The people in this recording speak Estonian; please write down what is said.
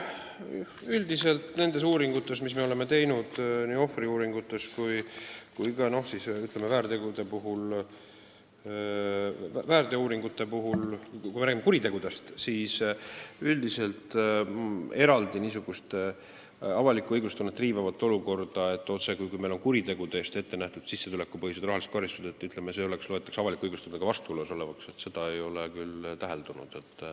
Üldiselt nendes uuringutes, mis me oleme teinud, nii ohvriuuringutes kui ka muudes uuringutes, on olnud nii, et kui rääkida kuritegudest, siis eraldi niisugust avalikku õiglustunnet riivavat olukorda, otsekui meil kuritegude eest ettenähtud sissetulekupõhised rahalised karistused loetaks avaliku õigusega vastuolus olevaks, ei ole küll täheldatud.